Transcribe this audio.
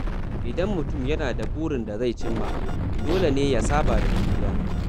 Idan mutum yana da burin da zai cimma, dole ne ya saba da juriya.